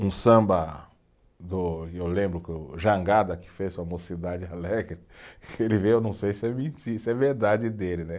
Um samba do, e eu lembro que o Jangada, que fez para a Mocidade Alegre, que ele veio, eu não sei se é mentira, se é verdade dele, né?